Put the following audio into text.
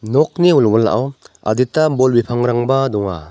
nokni wilwilao adita bol bipangrangba donga.